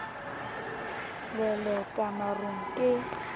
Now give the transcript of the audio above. le le ka marung ke